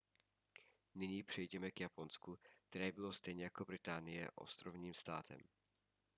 nyní přejděme k japonsku které bylo stejně jako británie ostrovním státem